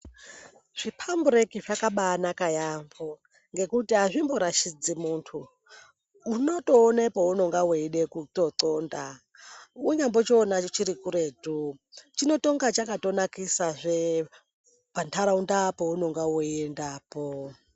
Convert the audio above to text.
Zvipambureki zvakabaanaka yaampho ngekuti azvimborashidzi munthu, unotoone peunonga weide kutoxonda. Wanyambochiona chiri kuretu chinotonga chakatonakisazve pantharaunda peunonga weiendapo.